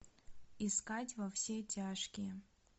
искать во все тяжкие